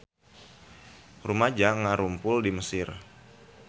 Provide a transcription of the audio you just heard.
Rumaja ngarumpul di Mesir